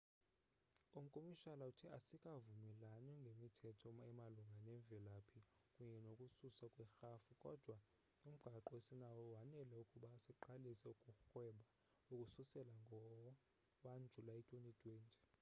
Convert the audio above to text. umkomishala uthe asikavumelani ngemithetho emalunga nemvelaphi kunye nokususwa kwerhafu kodwa umgaqo esinawo wanele ukuba siqalise ukurhweba ukususela ngo-1 julayi 2020